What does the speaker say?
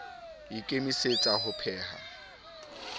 ke a ikemisetsa ho pheha